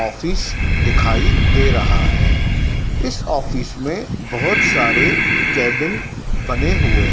office दिखाई दे रहा है इस ऑफिस में बहोत सारे केबिन बने हुए--